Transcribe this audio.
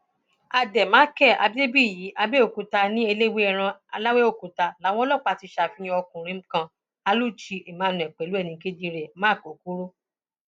àdèmàkè adébíyì abẹòkúta ní eléwéèràn lawẹọkútà làwọn ọlọpàá ti ṣàfihàn ọkùnrin kan aluchi emmanuel pẹlú ẹnì kejì rẹ mark okoro